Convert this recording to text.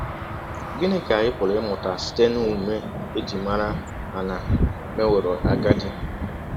Gịnị ka anyị pụrụ ịmụta site n’ọmụme e ji mara Ana mewọrọ agadi?